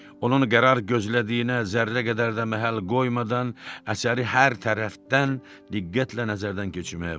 Onun qərar gözlədiyinə zərrə qədər də məhəl qoymadan əsəri hər tərəfdən diqqətlə nəzərdən keçirməyə başladı.